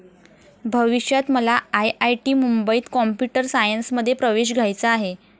भविष्यात मला आयआयटी मुंबईत कॉम्प्युटर सायन्समध्ये प्रवेश घ्यायचा आहे.